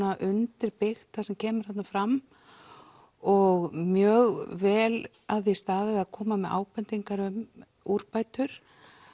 undirbyggt það sem kemur þarna fram og mjög vel að því staðið að koma með ábendingar um úrbætur